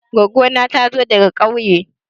Goggo na ta zo daga ƙauye.